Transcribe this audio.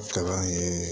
Kalan ye